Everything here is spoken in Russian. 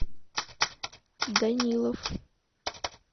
данилов